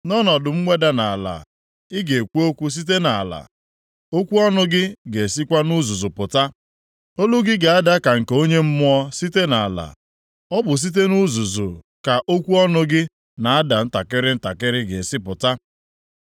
Nʼọnọdụ mweda nʼala, ị ga-ekwu okwu site nʼala, okwu ọnụ gị ga-esikwa nʼuzuzu pụta. Olu gị ga-ada ka nke onye mmụọ site nʼala, ọ bụ site nʼuzuzu ka okwu ọnụ gị na-ada ntakịrị ntakịrị ga-esi pụta.